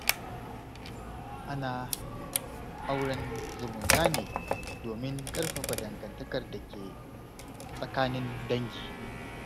Ana auren zumunta ne domin ƙarfafa dangantakar da ke tsakanin dangi.